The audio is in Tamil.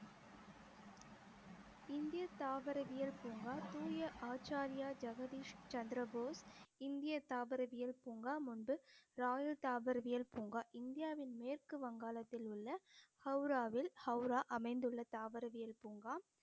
இந்திய தாவரவியல் பூங்கா தூய ஆச்சாரியா ஜெகதீஷ் சந்திரபோஸ் இந்திய தாவரவியல் பூங்கா முன்பு ராகுல் தாவரவியல் பூங்கா இந்தியாவின் மேற்கு வங்காளத்தில் உள்ள ஹௌராவில் ஹௌரா அமைந்துள்ள தாவரவியல் பூங்கா